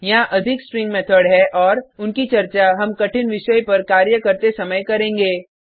यहाँ अधिक string method है और उनकी चर्चा हम कठिन विषय पर कार्य करते समय करेंगे